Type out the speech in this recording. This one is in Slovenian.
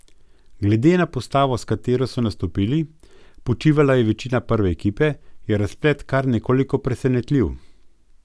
Glede na postavo, s katero so nastopili, počivala je večina prve ekipe, je razplet kar nekoliko presenetljiv.